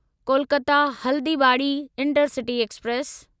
Kolkata Haldibari intercity express